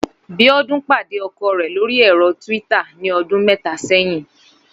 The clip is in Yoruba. Bíọ́dún pàdé ọkọ rẹ̀ lórí ẹ̀rọ Twitter ní ọdún mẹ́ta sẹ́yìn